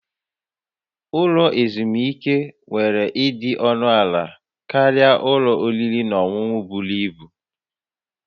Ụlọ ezumike nwere ịdị ọnụ ala karịa ụlọ oriri na ọṅụṅụ buru ibu